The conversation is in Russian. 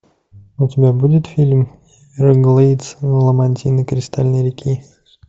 у тебя будет фильм эверглейдс ламантины кристальной реки